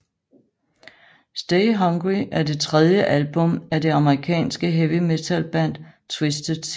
Stay Hungry er det tredje album af det amerikanske heavy metalband Twisted Sister